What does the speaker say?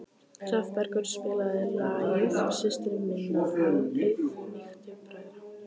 Hrafnbergur, spilaðu lagið „Systir minna auðmýktu bræðra“.